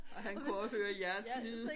Og han kunne også høre jeres lyde